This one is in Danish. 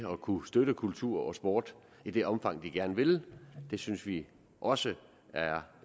at kunne støtte kultur og sport i det omfang de gerne vil det synes vi også er